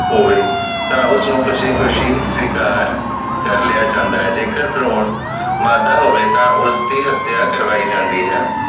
ਹੋਵੇ ਤਾਂ ਉਸ ਨੂੰ ਖੁਸ਼ੀ ਖੁਸ਼ੀ ਸਵੀਕਾਰ ਕਰ ਲਿਆ ਜਾਂਦੇ ਜੇਕਰ ਭਰੂਣ ਮਾਦਾ ਹੋਵੇ ਤਾਂ ਉਸਦੀ ਹਤਿਆ ਕਰਵਾਈ ਜਾਂਦੀ ਹੈ